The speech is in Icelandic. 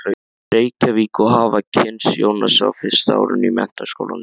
Reykjavík og hafa kynnst Jónasi á fyrsta árinu í Menntaskólanum.